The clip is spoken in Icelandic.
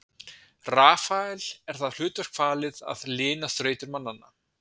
Rafael er það hlutverk falið að lina þrautir mannanna.